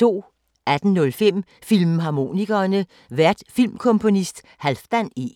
18:05: Filmharmonikerne: Vært filmkomponist Halfdan E